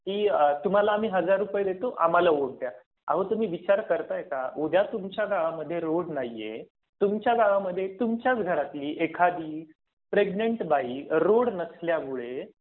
तर ही अगदी जनरल प्रॅक्टिस झाली आहे. कि तुम्हाला आम्ही हजार रुपये देतो. आम्हाला वोट द्या. अहो तुम्ही विचार करताय का? उद्या तुमच्या गावामध्ये रोड नाहीये. तुमच्या मध्ये तुमच्या घरातली एखादी प्रेग्नंट बाई रोड नसल्यामुळे